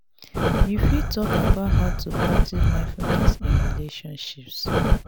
you fit talk about how to practice mindfulness in relationships.